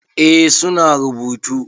Eh su na rubutu.